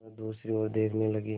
वह दूसरी ओर देखने लगी